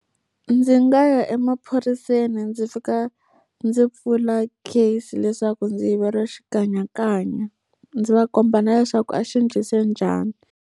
Ndzi nga ya emaphoriseni ndzi fika ndzi pfula case leswaku ndzi yiveriwe xikanyakanya. Ndzi va komba na leswaku a xi endlise njhani.